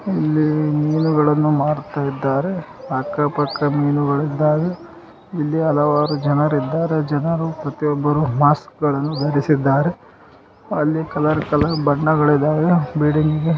ಇಲ್ಲಿ ಮೀನುಗಳನ್ನು ಮಾರುತಾಯಿದ್ದರೆ. ಅಕ್ಕ ಪಕ್ಕ ಮೀನುಗಳು ಇದ್ದಾವೆ. ಇಲ್ಲಿ ಹಲವಾರು ಜನರು ಇದ್ದಾರೆ ಜನರು ಪ್ರತಿಯೊಬ್ಬರೂ ಮಾಸ್ಕ್ಕಗಳನ್ನು ಧರಿಸಿದ್ದಾರೆ. ಅಲ್ಲಿ ಕಲರ್ ಕಲರ್ ಬಣ್ಣಗಳು ಇದಾವೆ. ಬಿಳಿ--